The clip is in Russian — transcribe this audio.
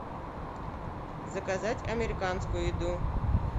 заказать американскую еду